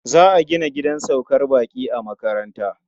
Za a gina gidan saukar baƙi a makaranta.